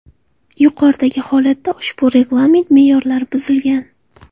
Yuqoridagi holatda ushbu reglament me’yorlari buzilgan.